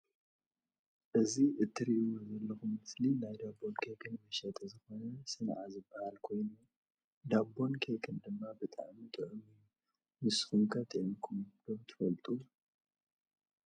እዚ ትርእዎ ዘለኩም ምስሊ ናይ ዳቦን ኬክን መሸጢ ዝኮነ ሰንዓ ዝባሃል ኮይኑ። ዳቦን ኬክን ድማ ብጣዕሚ ጥዑም እዩ። ንስኩም ከጥዕምኩም ትፈልጡ ዶ?